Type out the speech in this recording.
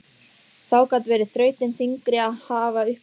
Þá gat verið þrautin þyngri að hafa upp á honum.